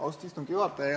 Austatud istungi juhataja!